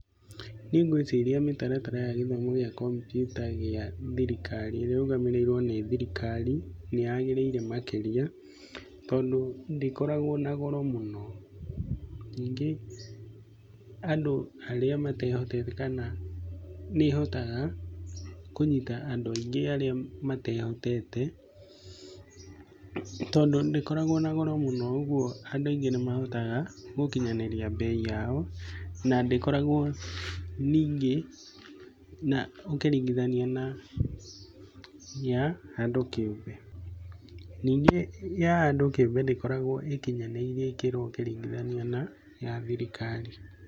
Niĩ ngwĩciria mĩtaratara ya gĩthomo gĩa kompiuta gĩa thirikari, ĩrĩa ĩrũgamĩrĩirwo nĩ thirikari nĩ yagĩrĩire makĩria, tondũ ndĩkoragwo na goro mũno. Ningĩ andũ arĩa matehotete kana nĩ ĩhotaga kũnyita andũ aingĩ arĩa matehotete tondũ ndĩkoragwo na goro mũno ũguo andũ aingĩ nĩ mahotaga gũkinyanĩria bei yao, na ndĩkoragwo ningĩ na, ũkĩringithania na ya andũ kĩũmbe. Ningĩ ya andũ kĩũmbe ndĩkoragwo ĩkinyanĩirie ikĩro ũkĩringithania na ya thirikari.